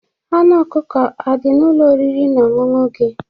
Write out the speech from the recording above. Anụ ọkụkọ adị n'Ụlọ oriri na ọṅụṅụ gị?